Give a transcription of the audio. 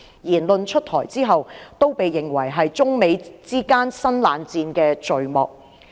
言論出台後，均被認為是中美之間新冷戰的序幕。